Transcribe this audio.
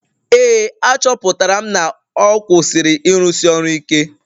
Ee, achọpụtara m na ọ kwụsịrị ịrụsi ọrụ ike